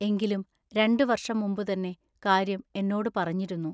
എങ്കിലും രണ്ടു വർഷം മുമ്പു തന്നെ കാര്യം എന്നോടു പറഞ്ഞിരുന്നു.